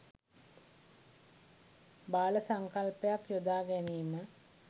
බාල සංකල්පයක් යොදා ගැනීම